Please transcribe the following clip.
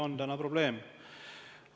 Ja see on probleem.